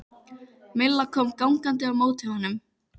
Milla kom gangandi á móti honum.